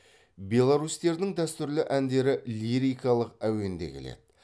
беларусьтердің дәстүрлі әндері лирикалық әуен де келеді